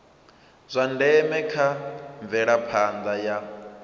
zwa ndeme kha mvelaphanda ya